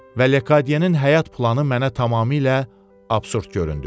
Və Lekadiyenin həyat planı mənə tamamilə absurd göründü.